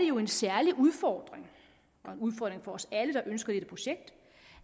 jo en særlig udfordring for os alle der ønsker dette projekt